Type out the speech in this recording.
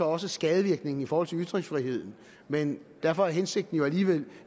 også skadevirkningen i forhold til ytringsfriheden men derfor er hensigten jo alligevel